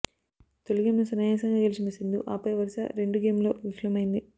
తొలి గేమ్ను సునాయాసంగా గెలిచిన సింధు ఆపై వరుస రెండు గేమ్ల్లో విఫలమైంది